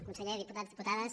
conseller diputats diputades